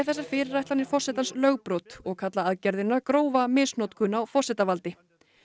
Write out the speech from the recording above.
þessar fyrirætlanir forsetans lögbrot og kalla aðgerðina grófa misnotkun á forsetavaldi